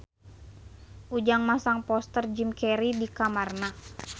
Ujang masang poster Jim Carey di kamarna